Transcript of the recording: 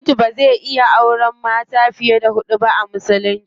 Namiji bazai iya auren mata fiye da hudu ba a musulunci.